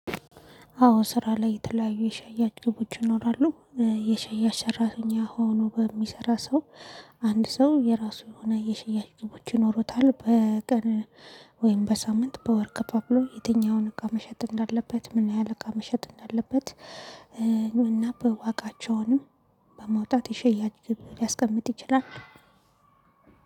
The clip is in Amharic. አዎ ስራ ላይ የተለያዩ የሸያጭ ግቦች ይኖራሉ። የሸያጭ ሰራተኛ ሆኖ በሚሰራ ሰው አንድ ሰው የራሱ የሆነ የሽያጭ ግቦች ይኖሩታል። በቀን ወይም በሳምንት በወር ከፋፍሎ የትኛውን እቃ መሸጥ እንዳለበት፣ ምን ያህል እቃ መሸጥ እንዳለበት እና በዋጋቸውንም በማውጣት የሸያጭ ግብ ሊያስቀምጥ ይችላል።